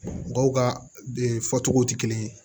Mɔgɔw ka fɔ cogo te kelen ye